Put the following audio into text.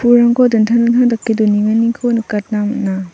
pulrangko dingtang dingtang dake donenganiko nikatna man·a.